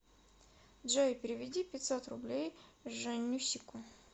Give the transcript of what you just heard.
джой переведи пятьсот рублей жаннюсику